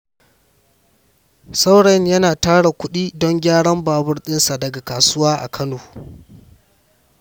Saurayin yana tara kudi don gyaran babur ɗinsa daga kasuwa a Kano.